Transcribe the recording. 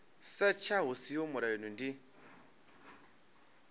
setsha hu siho mulayoni ndi